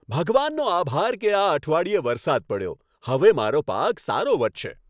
ભગવાનનો આભાર કે આ અઠવાડિયે વરસાદ પડ્યો. હવે મારો પાક સારો વધશે.